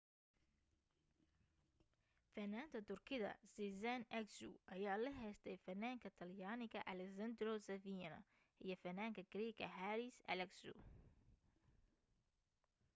fanaanta turkida sezen aksu ayaa la heestay fanaanka talyaaniga alessandro safina iyo fanaanka greek haris alexiou